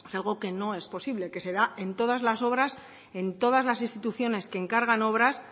algo que no es posible que se da en todas las obras en todas las instituciones que encargan obras